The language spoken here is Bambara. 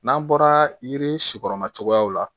N'an bɔra yiri si kɔrɔma cogoyaw la